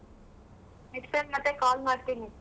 Next time ಮತ್ತೆ call ಮಾಡ್ತೀನಿ.